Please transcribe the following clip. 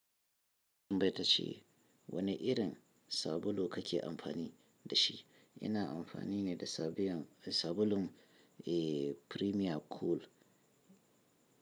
Baita ce. Wane irin sabulu kake amfani da shi? Ina amfani ne da sabulun Premium Cool.